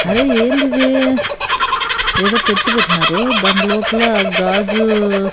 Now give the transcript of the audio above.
అరే ఏందిది ఏదో పెట్టు పెట్నారు దాన్ లోపల గాజు--